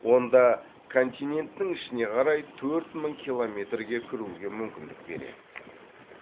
онда континенттің ішіне қарай төрт мың километрге кіруге мүмкіндік береді